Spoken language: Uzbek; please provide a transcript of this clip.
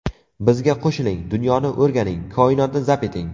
Bizga qo‘shiling, dunyoni o‘rganing, koinotni zabt eting!